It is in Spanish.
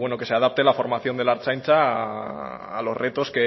que se adapte la formación de la ertzaintza a los retos